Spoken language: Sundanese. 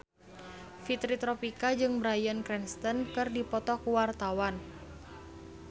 Fitri Tropika jeung Bryan Cranston keur dipoto ku wartawan